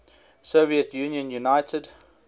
soviet union united